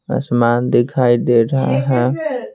आसमान दिखाई दे रहा है।